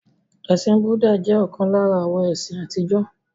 Ẹ̀sìn Búdà jẹ́ ọ̀kan lára àwọn ẹ̀sìn àtijọ́.